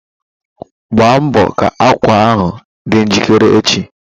Gba mbọ ka ákwà ahụ dị njikere echi!